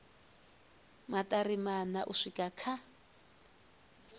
maṱari maṋa u swika kha